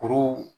Kuru